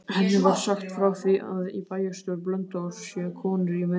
Henni er sagt frá því að í bæjarstjórn Blönduóss séu konur í meirihluta.